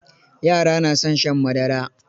Yara na son shan madara.